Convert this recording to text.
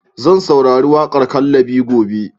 Zan saurari waƙar "Kallabi" gobe.